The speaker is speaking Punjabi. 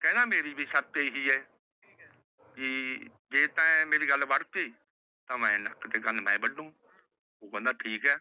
ਕਹਿੰਦਾ ਮੇਰੀ ਵੀ ਸ਼ਰਤ ਏਹੀ ਹੈ ਕੀ ਜੇ ਤਾ ਏ ਮੇਰੀ ਗਲ ਬਣ ਬੰਦਾ ਠੀਕ ਹੈ